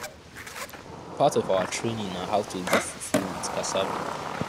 part of our training na how to do fufu with cassava